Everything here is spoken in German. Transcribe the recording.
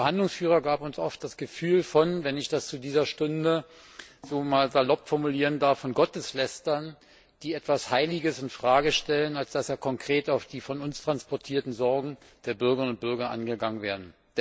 Ihr Verhandlungsführer gab uns oft eher das Gefühl, wir seien wenn ich das zu dieser Stunde einmal so salopp formulieren darf Gotteslästerer, die etwas Heiliges in Frage stellen, als dass er konkret auf die von uns transportierten Sorgen der Bürgerinnen und Bürger eingegangen wäre.